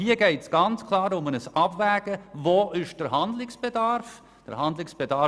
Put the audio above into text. Hier geht es also ganz klar um ein Abwägen, wo Handlungsbedarf besteht.